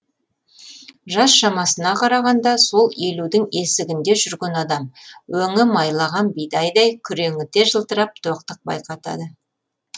жас шамасына қарағанда сол елудің есігінде жүрген адам өңі майлаған бидайдай күреңіте жылтырап тоқтық байқатады